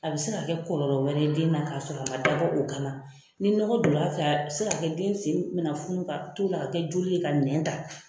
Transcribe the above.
A bɛ se ka kɛ kɔlɔlɔ wɛrɛ ye den na ka sɔrɔ a man dabɔ o kama ni ɲɔgɔ don na a fɛ a bɛ se ka kɛ den sen bɛ na funu ka t'o la ka kɛ joli ye ka nɛn ta.